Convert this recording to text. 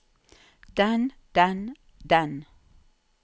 den den den